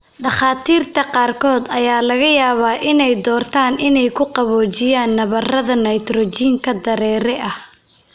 Dhakhaatiirta qaarkood ayaa laga yaabaa inay doortaan inay ku qaboojiyaan nabarada nitrogen dareere ah.